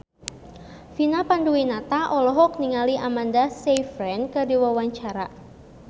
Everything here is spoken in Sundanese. Vina Panduwinata olohok ningali Amanda Sayfried keur diwawancara